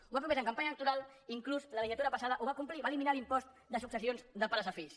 ho va prometre en campanya electoral inclús la legislatura passada ho va complir va eliminar l’impost de successions de pares a fills